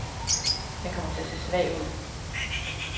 Den kommer til at se svag ud.